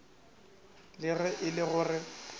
le ge e le gore